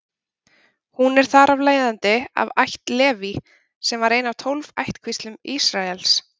Hún er þar af leiðandi af ætt Leví, sem var ein af tólf ættkvíslum Ísraels.